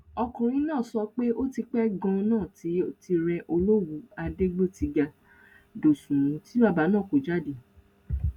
ọkùnrin náà sọ pé ó ti pẹ ganan tó ti rẹ olówù adégbòtiga dóṣùnmù tí bàbá náà kó jáde